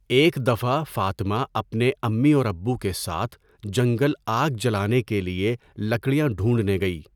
ایک دفعہ فاطمہ اپنے امی اور ابو کےساتھ جنگل آگ جلانے کے لئے لکڑیاں ڈھونڈنے گئی